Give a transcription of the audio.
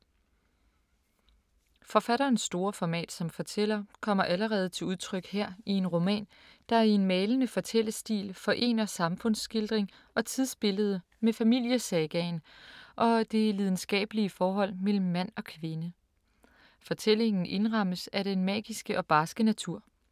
Forfatterens store format som fortæller kommer allerede til udtryk her i en roman, der i en malende fortællestil forener samfundsskildring og tidsbillede med familiesagaen og det lidenskabelige forhold mellem mand og kvinde. Fortællingen indrammes af den magiske og barske natur.